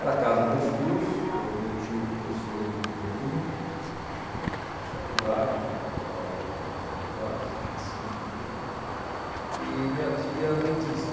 Era a casa dos meus tios, meu meu tio professor de bioquímica, das faculdades, ele dava aula em várias faculdades, de medicina, de bioquímica, e minha tia dentista.